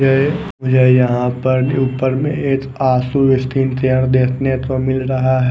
ये मुझे यहां पर ऊपर में एक आसू स्टील चेयर देखने तो मिल रहा है।